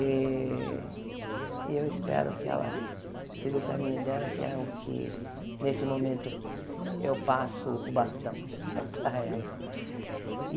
Eh e eu espero que ela siga o caminho dela, que é o que, nesse momento, eu passo o bastão para ela.